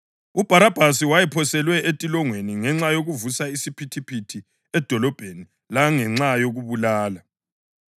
(UBharabhasi wayephoselwe entolongweni ngenxa yokuvusa isiphithiphithi edolobheni langenxa yokubulala.)